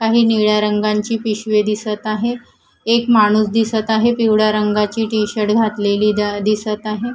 काही निळ्या रंगांची पिशवी दिसत आहे एक माणूस दिसत आहे पिवळ्या रंगाची टी_शर्ट घातलेली द दिसत आहे.